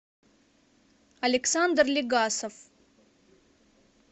александр легасов